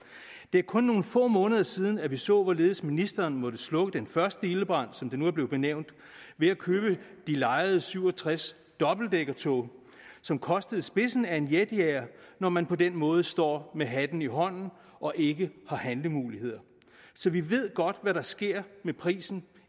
er kun nogle få måneder siden at vi så hvorledes ministeren måtte slukke den første ildebrand som det nu er blevet benævnt ved at købe de lejede syv og tres dobbeltdækkertog som kostede spidsen af en jetjager når man på den måde står med hatten i hånden og ikke har handlemuligheder så vi ved godt hvad der sker med prisen